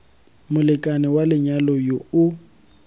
molekane wa lenyalo yo o